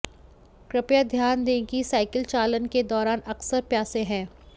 कृपया ध्यान दें कि साइकिल चालन के दौरान अक्सर प्यासे हैं